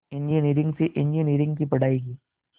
engineering से engineering की पढ़ाई की